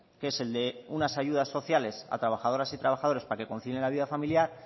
que es el de unas ayudas sociales a trabajadoras y trabajadores para que concilien la vida familiar